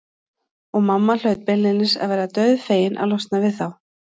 Og mamma hlaut beinlínis að vera dauðfegin að losna við þá.